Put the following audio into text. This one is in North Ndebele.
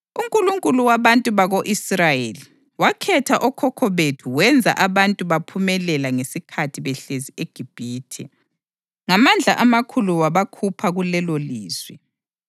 UNkulunkulu wabantu bako-Israyeli wakhetha okhokho bethu wenza abantu baphumelela ngesikhathi behlezi eGibhithe. Ngamandla amakhulu wabakhupha kulelolizwe